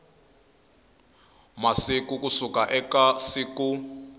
masiku ku suka eka siku